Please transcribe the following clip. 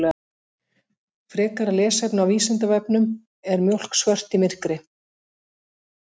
Frekara lesefni á Vísindavefnum Er mjólk svört í myrkri?